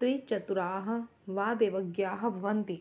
त्रिचतुराः वा दैवज्ञाः भवन्ति